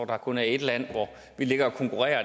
der kun er et land vi ligger og konkurrerer